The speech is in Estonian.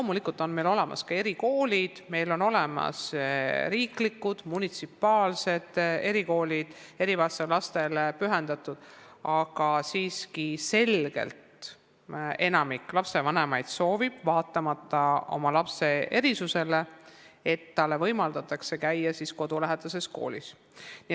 Loomulikult on meil olemas ka erikoolid, meil on olemas riiklikud ja munitsipaalsed erikoolid, mis on erivajadusega lastele pühendatud, aga siiski soovib enamik lastevanemaid selgelt, vaatamata oma lapse erisustele, et tal võimaldataks käia kodulähedases koolis.